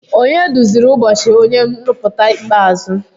Onye duziri ụbọchị onye nrụpụta ikpeazụ?